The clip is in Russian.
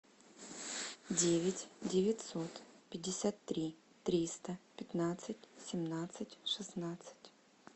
девять девятьсот пятьдесят три триста пятнадцать семнадцать шестнадцать